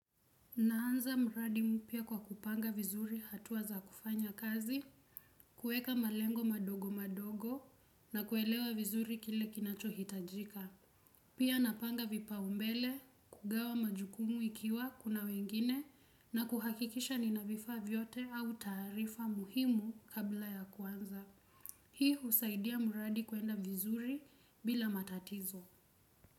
Naanza muradi mpya kwa kupanga vizuri hatuwa za kufanya kazi, kueka malengo madogo madogo na kuelewa vizuri kile kinacho hitajika. Pia napanga vipaumbele, kugawa majukumu ikiwa kuna wengine na kuhakikisha nina vifaa vyote au tarifa muhimu kabla ya kuanza. Hii husaidia muradi kuenda vizuri bila matatizo.